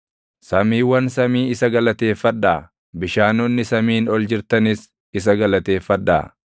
Samiiwwan samii isa galateeffadhaa; bishaanonni samiin ol jirtanis isa galateeffadhaa.